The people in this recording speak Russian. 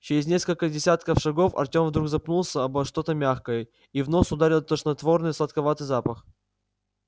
через несколько десятков шагов артем вдруг запнулся обо что-то мягкое и в нос ударил тошнотворный сладковатый запах